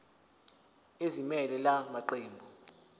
ezimelele la maqembu